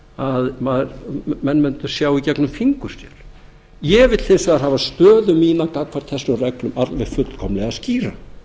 að menn mundu sjá í gegnum fingur sér ég vil hins vegar hafa stöðu mína gagnvart þessum reglum alveg fullkomlega skýrar